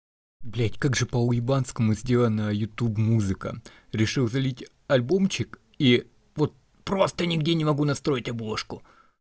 блять как же по уебанскому сделана на ютуб музыка решил залить альбомчик и вот просто нигде не могу настроить обложку